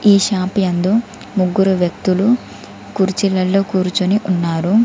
ఈ షాప్ యందు ముగ్గురు వ్యక్తులు కుర్చీలలో కూర్చొని ఉన్నారు.